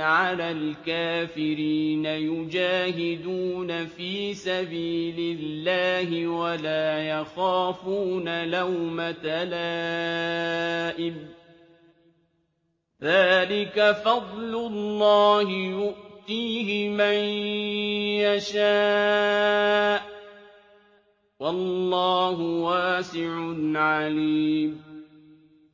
عَلَى الْكَافِرِينَ يُجَاهِدُونَ فِي سَبِيلِ اللَّهِ وَلَا يَخَافُونَ لَوْمَةَ لَائِمٍ ۚ ذَٰلِكَ فَضْلُ اللَّهِ يُؤْتِيهِ مَن يَشَاءُ ۚ وَاللَّهُ وَاسِعٌ عَلِيمٌ